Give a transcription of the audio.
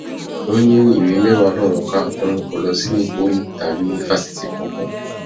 ó ní ìwé mẹwàá lòún ka òun kó lọ sí pọlì tàbí fásitì kankan